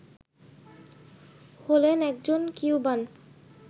হলেন একজন কিউবান